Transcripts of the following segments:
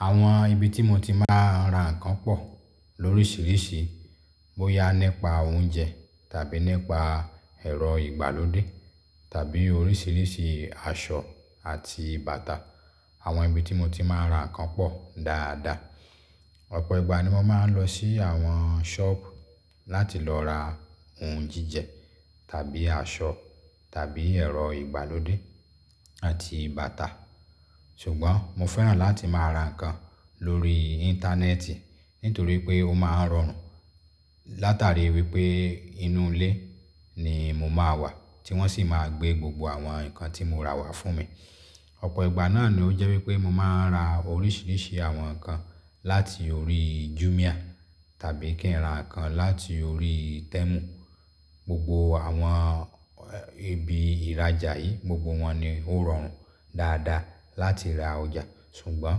Àwọn ibi tí mo ti máa ń ra nnkan pọ̀ lóríṣiríṣi, bóyá nípa oúnjẹ tàbí nípa ẹ̀rọ ìgbàlódé tàbí oríṣiríṣi aṣọ àti bàtà. Àwọn ibi tí mo ti máa ń ra nnkan pọ̀ dáadáa. Ọ̀pọ̀ ìgbà ni mo máa ń lọ sí àwọn sọ́ọ̀bù láti lọ ra ohun jíjẹ tàbí aṣọ tàbí ẹ̀rọ ìgbàlódé àti bàtà. Ṣùgbọ́n mo fẹ́ràn láti máa ra nnkan lórí Íńtánẹ́ẹ̀tì nítorí pé ó máa ń rọrùn. Látàrí wípé inú ilé ni mo máa wà tí wọ́n sì máa gbé gbogbo àwọn nǹkan tí mo rà wá fún mi. Ọ̀pọ̀ ìgbà náà ni ó jẹ́ wípé mo máa ń ra oríṣiríṣi àwọn nǹkan láti orí Jumia tàbí kí ń ra nnkan láti orí Temu. Gbogbo àwọn ibi ìrajà yìí, gbogbo wọn ni ó rọrùn dáadáa láti ra ọjà. Ṣùgbọ́n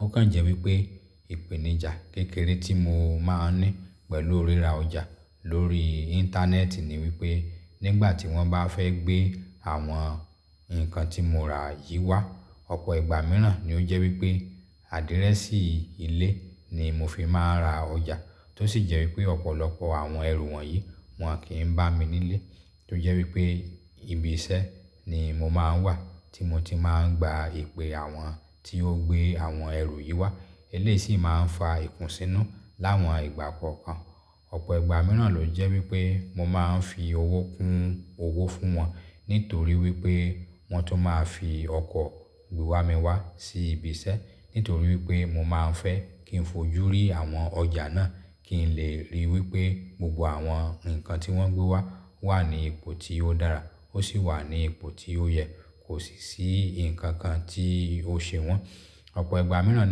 ó kàn jẹ́ wípé ìpèníjà kékeré tí mo máa ń ní pẹ̀lú ríra ọjà lórí Íńtánẹ́ẹ̀tì ni wípé nígbà tí wọ́n bá fẹ́ gbé àwọn nǹkan tí mo rà yìí wá, ọ̀pọ̀ ìgbà mìíràn ni ó jẹ́ wípé àdírẹ́sì ilé ni mo fi máa ń ra ọjà. Tó sì jẹ́ wípé ọ̀pọ̀lọpọ̀ àwọn ẹrù wọ̀nyí wọn kì í bá mi nílé. Tó jẹ́ wípé ibi iṣẹ́ ni mo máa ń wà tí mo ti máa ń gba ìpè àwọn tí ó gbé àwọn ẹrù yìí wá. Eléyìí sì máa ń fa ikùnsínú láwọn ìgbà kọ̀ọ̀kan. Ọ̀pọ̀ ìgbà mìíràn ló jẹ́ wípé mo máa ń fi owó kún owó fún wọn nítorí wípé wọn tó máa fi ọkọ̀ gbé wa mi wá sí ibi iṣẹ́. Nítorí wípé mo máa ń fẹ́ kí n fojú rí àwọn ọjà náà kí n lè ríi wípé gbogbo àwọn nǹkan tí wọ́n gbé wá wà ní ipò tí ó dára ó sì wà ní ipò tí ó yẹ kò sì sí nǹkan kan tí ó sèwọ́n. Ọ̀pọ̀ ìgbà mìíràn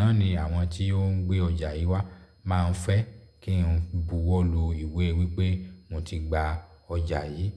náà ni àwọn tí ó ń gbé ọjà yìí wá máa ń fẹ́ kí n buwọ́ lọ ìwé wípé mo ti gba ọjà yìí.